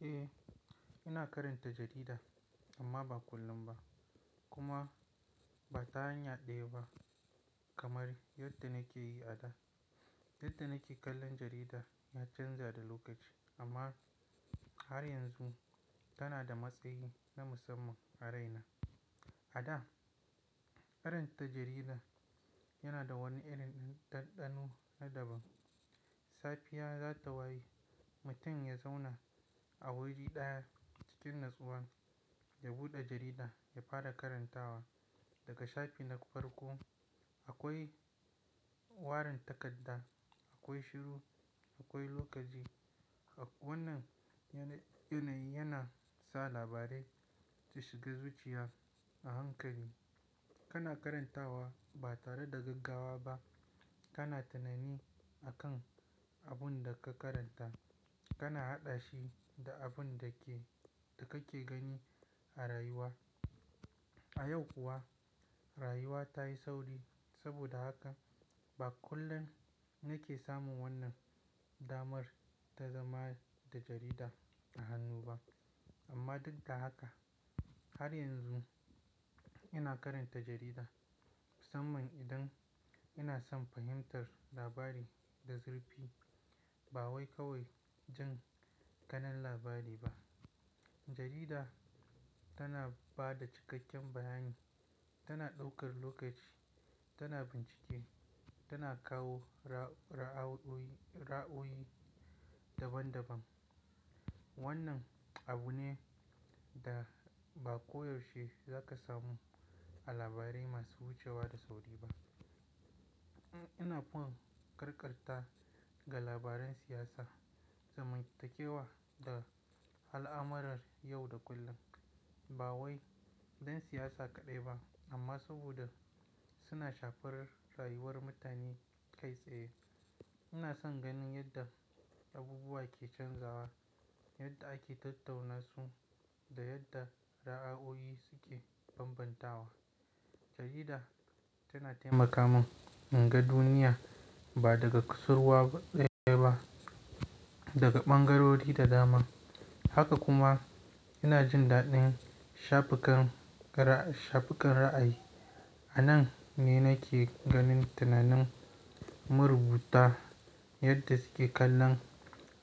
Eh, ina karanta jarida amma ba kullum ba kuma ba ta hanyar ɗaya ba kamar yadda nake yi a da. Yadda nake kallon jarida ya canza da lokaci amma har yanzu tana da matsayi na musamman a raina. A da, karanta jarida yana da wani irin dandano na daban. Safiya, za ta waye mutum ya zauna a wuri ɗaya cikin natsuwa, ya buɗe jarida ya fara karantawa daga shafi na farko. Akwai warin takarda, akwai shiru, akwai lokaci. Wannan yanayi yana sa labarai su shiga zuciya a hankali. Kana karantawa ba tare da gaggawa ba. Kana tunani akan abun da ka karanta, kana haɗa shi da abun da kake gani a rayuwa. A yau kuwa, rayuwa ta yi sauri. Saboda haka ba kullum nake samun wannan damar ta zama da jarida a hannu ba. Amma duk da haka, har yanzu ina karanta jarida mussaman idan ina son fahimtar labari da zurfi. Ba wai kawai jan ƙanan labari ba. Jarida tana ba da cikakken bayani, tana ɗaukar lokaci, tana bincike, tana kawo ra'awoyi daban daban. Wannan abu ne da ba koyaushe za ka samu a labarai masu wucewa da sauri ba. Ina foin karkata ga labaran siyasa, zamantakewa da al'amuran yau da kullum. Ba wai don siyasa kaɗai ba amma saboda suna shafarar rayuwar mutane kai tsaye. Ina son ganin yadda abubuwa ke canzawa, yadda ake tattauna su da yadda ra'ayoyi suke bambantawa. Jarida tana taimaka min in ga duniya ba daga kusurwa ɗaya ba, daga ɓangarori da dama. Haka kuma ina jin daɗin shafukan ra'ayi. A nan ne nake ganin tunanin marubuta yadda suke kallon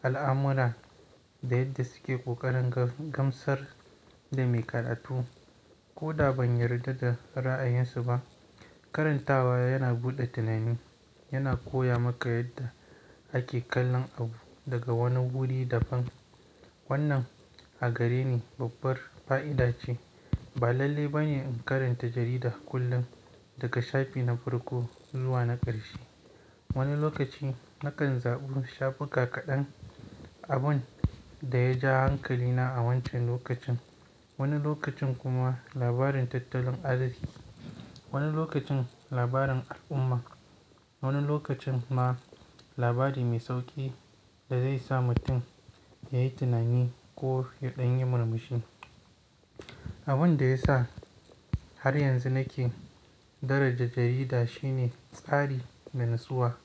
al'amura da yadda suke ƙoƙarin gamsar da mai karatu. Ko da ban yarda da ra'ayinsu ba, karantawa yana buɗe tunani, yana koya maka yadda ake kallon abu daga wani wuri daban. Wannan a gare ni babbar fa'ida ce. Ba lalle ba ne in karanta jarida kullum daga shafi na farko zuwa na ƙarshe. Wani lokaci nakan zaɓi shafuka kaɗan, abun da ya ja hankalina a wancan lokacin. Wani lokacin kuma labarin tattalin arziki, wani lokacin labarin al'umma, wani lokacin ma labari mai sauƙi da zai sa mutum yayi tunani ko ya ɗan yi murmushi. Abun da ya sa har yanzu nake daraja jarida shine tsari da natsuwa.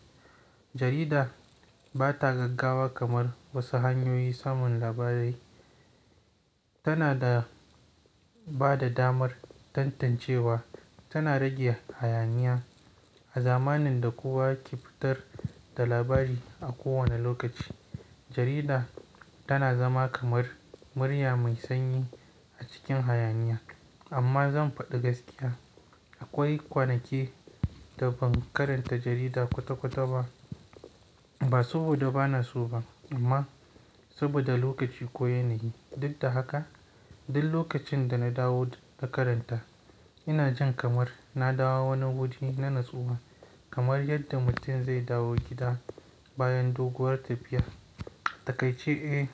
Jarida ba ta gaggawa kamar wasu hanyoyin samun labarai. Tana da bada damar tantancewa, tana rage hayaniya. A zamanin da kowa ke fitar da labari a kowane lokaci, jarida tana zama kamar murya mai sanyi a cikin hayaniya. Amma zan faɗi gaskiya. Akwai kwanaki da ban karanta jarida kwata kwata ba, ba saboda bana so ba amma saboda lokaci ko yanayi. Duk da haka, duk lokacin da na dawo na karanta, ina jin kamar na dawo wani wuri na natsuwa kamar yadda mutum zai dawo gida bayan doguwar tafiya. Takai ce, eh,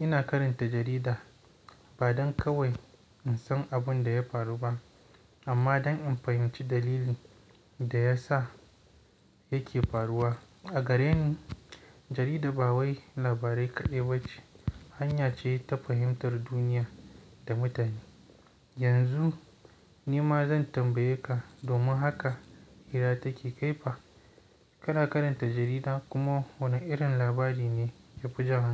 ina karanta jarida ba don kawai in san abun da ya faru ba amma don in fahimci dalilin da ya sa yake faruwa. A gare ni, jarida ba wai labarai kaɗai ba ce, hanya ce ta fahimtar duniya da mutane. Yanzu ni ma zan tambaye ka, domin haka hira take kaifa ka na karanta jarida kuma wane irin labari ne ka fi jan hankali?